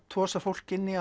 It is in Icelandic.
tosað fólk inn í